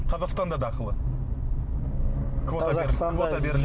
қазақстанда да ақылы